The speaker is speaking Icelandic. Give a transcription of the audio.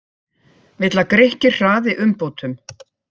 Vill að Grikkir hraði umbótum